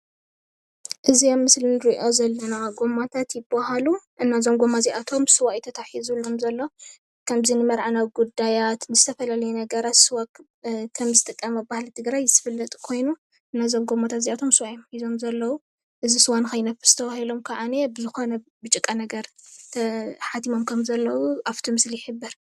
እዚ ኣብ ምስሊ እንሪኦ ዘለና ጎማታት ይባሃሉ፡፡ እና እዞም ጎማታት እዚኦም ስዋ እዩ ተታሒዝሎም ዝሎ፡፡ ከምዚ ንመርዓ ናብ ንጉዳያት ንዝተፈላለዩ ነገራት ስዋ ከም ዝጥቀም ባህሊ ትግራይ ዝፍለጥ ኮይኑ እዞም ጎማታት እዚኦም ስዋ እዮም ሒዞም ኣለዉ፡፡ እዚ ስዋ ንከይነፍስ ድማ ብዝኮነ ጭቃ ነገር ተሓቲሞም ከም ዘለዉ ኣብእቲ ምስሊ ይሕብር፡፡